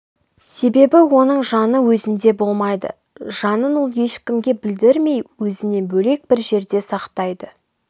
себебі оның жаны өзінде болмайды жанын ол ешкімге білдірмей өзінен бөлек бір жерде сақтайды